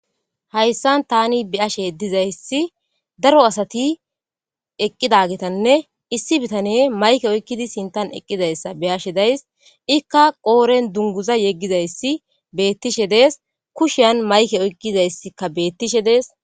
Hayissan tani be'ashshe dizayissi daro asati eqqidagetanne issi bitaneyi mayikke oyikkidi eqqi hasayizayissa besses.